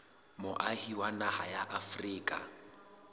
moahi wa naha ya afrika